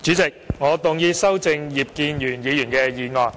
主席，我動議修正葉建源議員的議案。